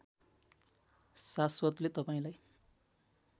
शाश्वतले तपाईँलाई